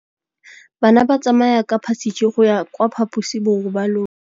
Bana ba tsamaya ka phašitshe go ya kwa phaposiborobalong.